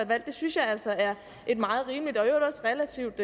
valg det synes jeg altså er et meget rimeligt og i øvrigt også relativt